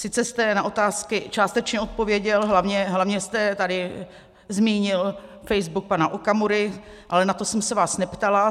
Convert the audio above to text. Sice jste na otázky částečně odpověděl, hlavně jste tady zmínil Facebook pana Okamury, ale na to jsem se vás neptala.